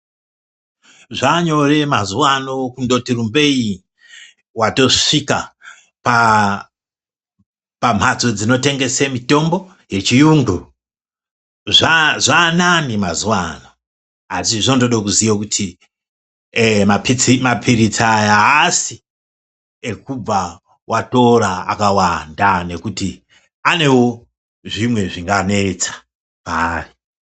Zvaanyore mazuvaano kungoti rumbeyi ,watosvika pamhatso dzinotengese mitombo yechiyungu, zvaanani mazuva ano asi zvinode kuziya kuti eeh mapiritsi aya haasi ekubva watora akawanda nekuti anewo zvimwe zvinganetsa paari.